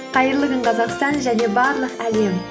қайырлы күн қазақстан және барлық әлем